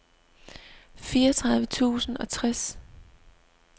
fireogtredive tusind og tres